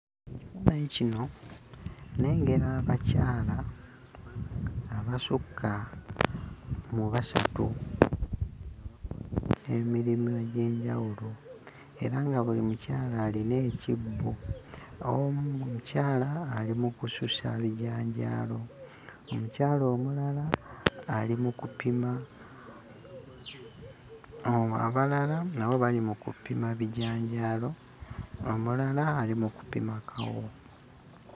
Faanyi kino nnengera abakyala abasukka mu basatu, emirimu egy'enjawulo era nga buli mukyala alina ekibbo omu mukyala ali mu kususa bijanjaalo, omukyala omulala ali mu kupima o abalala nabo bali mu kupima bijanjaalo, omulala ali mu kupima kawo.